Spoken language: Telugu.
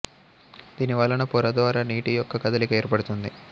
దీని వలన పొర ద్వారా నీటి యొక్క కదలిక ఏర్పడుతుంది